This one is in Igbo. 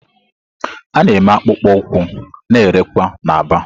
A na-eme akpụkpọ ụkwụ na-erekwa na Aba.